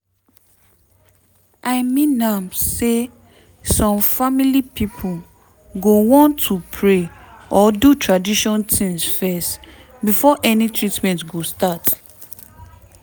i mean am say some family pipo go wan to pray or do tradition tings fezz before any treatment go start